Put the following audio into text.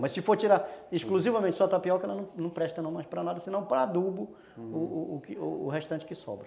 Mas se for tirar exclusivamente só tapioca, ela ela não presta não mais para nada, senão para adubo o restante que sobra.